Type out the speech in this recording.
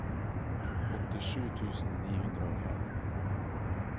åttisju tusen ni hundre og fem